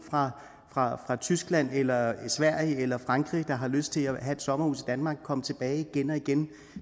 fra tyskland eller sverige eller frankrig der har lyst til at have et sommerhus danmark og komme tilbage igen og igen